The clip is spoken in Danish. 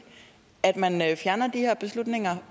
at man fjerner de her beslutninger